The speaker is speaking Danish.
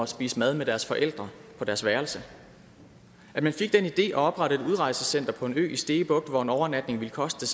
spise mad med deres forældre på deres værelse at man fik den idé at oprette et udrejsecenter på en ø i stege bugt hvor en overnatning ville koste